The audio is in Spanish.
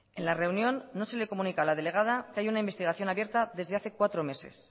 en la reunión no se le comunica a la delegada que haya una investigación abierta desde hace cuatro meses